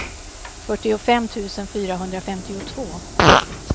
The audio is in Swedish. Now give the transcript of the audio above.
fyrtiofem tusen fyrahundrafemtiotvå